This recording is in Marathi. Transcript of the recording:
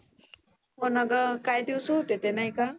होना ग काय दिवस होते ते नाही का.